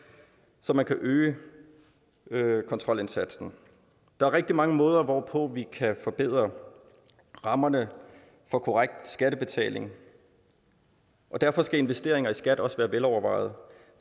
så man kan øge øge kontrolindsatsen der er rigtig mange måder hvorpå vi kan forbedre rammerne for korrekt skattebetaling og derfor skal investeringer i skat også være velovervejede